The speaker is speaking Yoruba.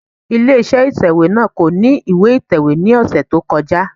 Ilé iṣẹ́ ìtẹ̀wẹ́ náà kò ní ìwé ìtẹ̀wé ní ọ̀sẹ̀ tó kọjá.